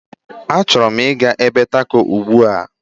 Achọrọ m ịga ebe taco ugbu a.